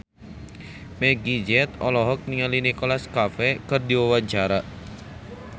Meggie Z olohok ningali Nicholas Cafe keur diwawancara